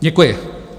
Děkuji.